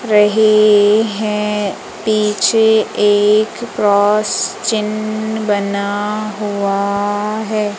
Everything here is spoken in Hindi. रहे है पीछे एक क्रॉस चिन्ह बना हुआ है।